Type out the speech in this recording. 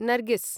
Nargis